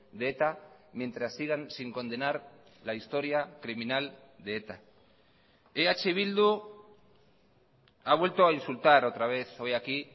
de eta mientras sigan sin condenar la historia criminal de eta eh bildu ha vuelto a insultar otra vez hoy aquí